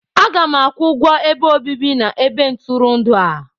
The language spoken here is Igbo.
Aga m akwụ ụgwọ ebe obibi na ebe ntụrụndụ a.